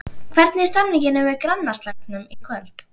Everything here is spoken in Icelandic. Hvernig er stemningin fyrir grannaslagnum í kvöld?